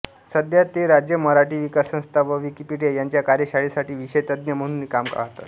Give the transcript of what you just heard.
सध्या ते राज्य मराठी विकास संस्था व विकिपिडिया यांच्या कार्यशाळेसाठी विषयतज्ज्ञ म्हणूनही काम पाहतात